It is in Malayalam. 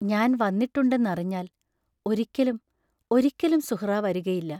ഞാൻ വന്നിട്ടുണ്ടെന്നറിഞ്ഞാൽ, ഒരിക്കലും, ഒരിക്കലും സുഹ്റാ വരുകയില്ല!